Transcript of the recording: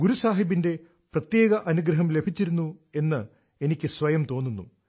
ഗുരു സാഹിബിന്റെ പ്രത്യേക അനുഗ്രഹം ലഭിച്ചിരുന്നു എന്ന് എനിക്കു സ്വയം തോന്നുന്നു